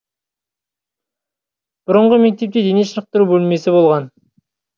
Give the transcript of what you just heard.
бұрынғы мектепте дене шынықтыру бөлмесі болған